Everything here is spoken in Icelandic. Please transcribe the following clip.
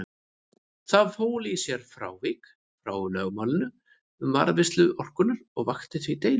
Það fól í sér frávik frá lögmálinu um varðveislu orkunnar og vakti því deilur.